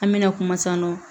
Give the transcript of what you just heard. An mɛna kuma san nɔ